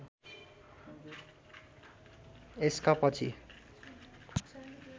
यसका पछि